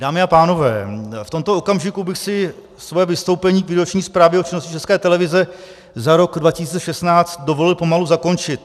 Dámy a pánové, v tomto okamžiku bych si svoje vystoupení k výroční zprávě o činnosti České televize za rok 2016 dovolil pomalu zakončit.